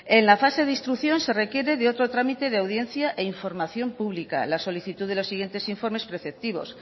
en la fase de instrucción se requiere de otro trámite de audiencia e información pública la solicitud de los siguientes informes preceptivos